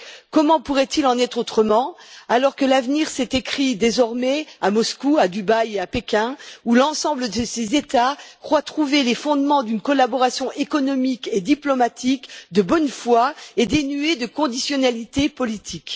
Comment pourrait il en être autrement, alors que l'avenir s'écrit désormais à Moscou, à Dubaï et à Pékin, où l'ensemble de ces États croient trouver les fondements d'une collaboration économique et diplomatique de bonne foi et dénuée de conditionnalité politique?